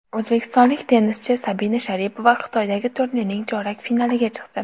O‘zbekistonlik tennischi Sabina Sharipova Xitoydagi turnirning chorak finaliga chiqdi.